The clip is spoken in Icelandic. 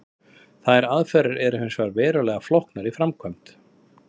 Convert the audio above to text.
Þær aðferðir eru hins vegar verulega flóknar í framkvæmd.